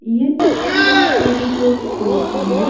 ये तस्वीर एक रिटेल स्टोर की है।